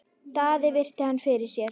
Daði virti hann fyrir sér.